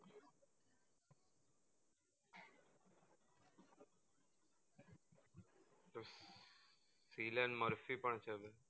Ellen murphy પણ છે